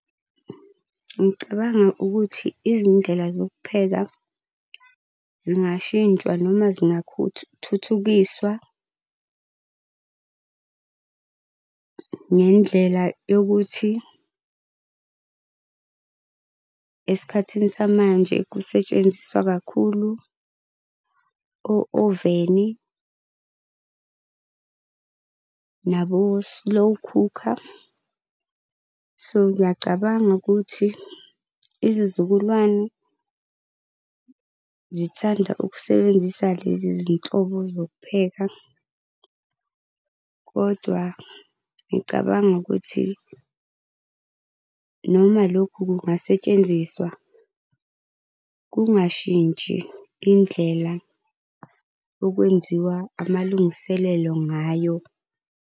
Ngicabanga ukuthi izindlela zokupheka zingashintshwa noma thuthukiswa ngendlela yokuthi esikhathini samanje kusetshenziswa kakhulu o-oveni nabo-slow cooker. So, ngiyacabanga ukuthi izizukulwane zithanda ukusebenzisa lezi zinhlobo zokupheka kodwa ngicabanga ukuthi noma lokhu kungasetshenziswa, kungashintsha indlela okwenziwa amalungiselelo ngayo.